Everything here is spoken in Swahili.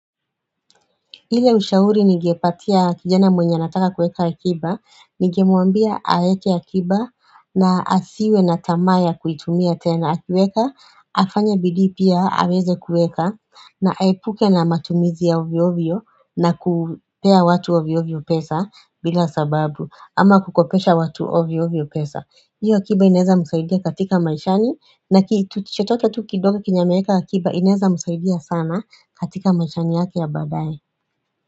Ile ushauri ningepatia kijana mwenye anataka kueka akiba, ningemwambia aeke akiba na asiwe na tamaya kuitumia tena. Akiweka, afanya bidii pia, aweze kueka na aepuke na matumizi ya ovyovyo na kupea watu ovyovyo pesa bila sababu ama kukopesha watu ovyovyo pesa. Iyo akiba inaeza msaidia katika maishani na kitu chochote tu kidogo kenye ameweka akiba inaeza msaidia sana katika maishani yake ya baadaye.